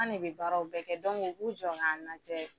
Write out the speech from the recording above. An ne be baraw bɛɛ kɛ dɔnku u b'u jɔ k'an lajɛ